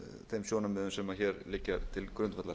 þeim sjónarmiðum sem hér liggja til grundvallar